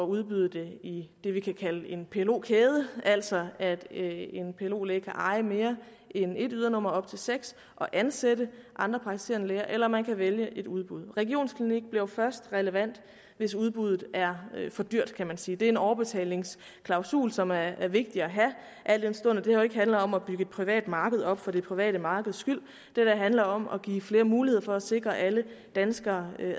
udbyde det i det vi kunne kalde for en plo kæde altså at en plo læge kan eje mere end et ydernummer nemlig op til seks og ansætte andre praktiserende læger eller man kan vælge et udbud regionsklinik bliver jo først relevant hvis udbuddet er for dyrt kan man sige det er en overbetalingsklausul som er er vigtig at have al den stund at det her jo ikke handler om at bygge et privat marked op for det private markeds skyld det her handler om at give flere muligheder for at sikre alle danskere